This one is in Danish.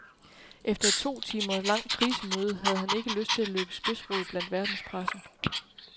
Efter et to timer langt krisemøde havde han ikke lyst til at løbe spidsrod blandt verdenspressen.